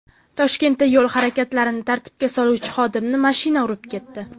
Toshkentda yo‘l harakatini tartibga soluvchi xodimni mashina urib ketdi.